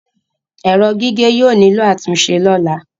Ẹrọ gige yóò nilo atunṣe lọla